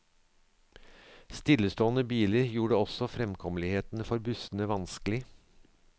Stillestående biler gjorde også fremkommeligheten for bussene vanskelig.